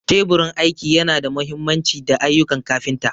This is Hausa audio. Teburin aiki yana da mahimmanci don ayyukan kafinta.